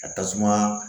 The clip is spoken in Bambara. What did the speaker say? Ka tasuma